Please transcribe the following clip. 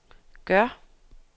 gør